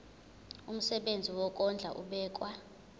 umsebenzi wokondla ubekwa